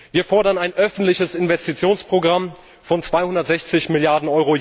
Wir fordern ein öffentliches Investitionsprogramm von 260 Mrd.